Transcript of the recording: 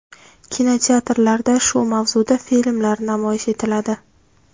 Kinoteatrlarda shu mavzuda filmlar namoyish etiladi.